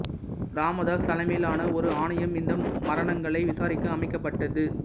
ராமதாஸ் தலைமையிலான ஒரு ஆணையம் இந்த மரணங்களை விசாரிக்க அமைக்கப்பட்டது